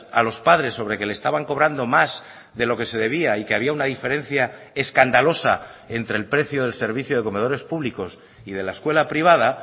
a los padres sobre que le estaban cobrando más de lo que se debía y que había una diferencia escandalosa entre el precio del servicio de comedores públicos y de la escuela privada